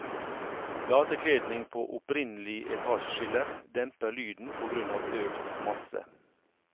Platekledning på opprinnelig etasjeskiller demper lyden på grunn av økt masse.